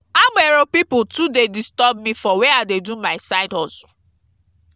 agbero pipu too dey disturb me for where i dey do my side hustle.